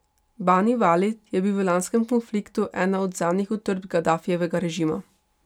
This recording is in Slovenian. Bani Valid je bil v lanskem konfliktu ena od zadnjih utrdb Gadafijevega režima.